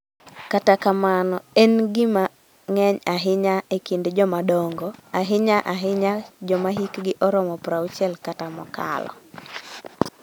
Kata kamano, en gima ng�eny ahinya e kind jomadongo, ahinya-ahinya joma hikgi oromo 60 kata mokalo.